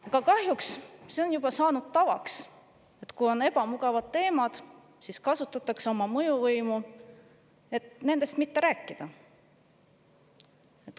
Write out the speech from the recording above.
Aga kahjuks on juba saanud tavaks, et kui on ebamugavad teemad, siis kasutatakse oma mõjuvõimu, et nendest mitte rääkida.